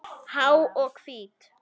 Há og hvít.